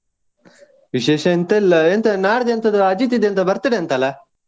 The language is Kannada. ವಿಶೇಷ ಎಂತ ಇಲ್ಲಾ ಎಂತಾ, ನಾಡ್ದು ಎಂತದೊ ಅಜಿತ್ ಇದು birthday ಅಂತ ಅಲ್ಲ.